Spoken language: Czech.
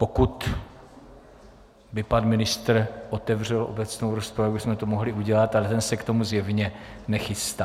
Pokud by pan ministr otevřel obecnou rozpravu, tak bychom to mohli udělat, ale ten se k tomu zjevně nechystá.